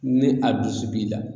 Ni a dusu b'i la